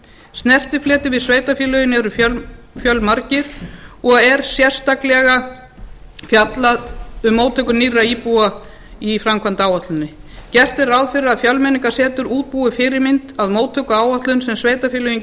snertifletir við sveitarfélögin eru fjölmargir og er sérstaklega fjallað um móttöku nýrra íbúa í framkvæmdaáætluninni gert er ráð fyrir að fjölmenningarsetur útbúi fyrirmynd að móttökuáætlun sem sveitarfélögin